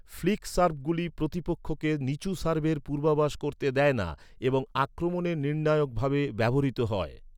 Flick সার্ভগুলি প্রতিপক্ষকে নিচু সার্ভের পূর্বাভাস করতে দেয় না এবং আক্রমণে নির্ণায়ক ভাবে ব্যবহৃত হয়।